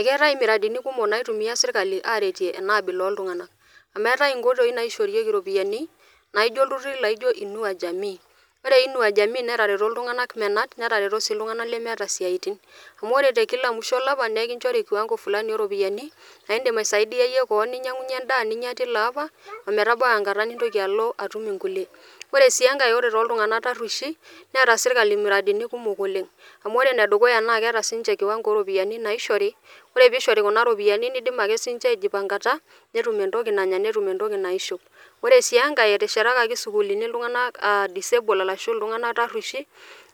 Ekeatae miradini kumok naitumiya sirkali aareteie ena abila ooltungana, amu eatae inkoitoi naishoorieki iropiyiani naijo lturiri naijo inua jamii ore inua jamii netareto ltunganak menat netareto sii ltunganak lemeeta siatin smu ore te musho elapa nikinchori kiawango fulani o ropiyiani naa indim aisaidiya iye keon naa indim ninyang'unye indaa telo lapa oometabau enkata nintoki alo atum nkule, ore sii enkae ore too ltungana tarrueshi neeta sirkali miradini kumok oleng amu ore ne dukuya naa keata sii ninche kiwango naishori, ore peishori kuna iropiyiani neidim ake sii ninche aijipangata, netum entoki nanya netum entoki naishop. ore sii enkae eteshetakaki sukulini ltunganak aa disanility arashu ltunganak tarrueshi,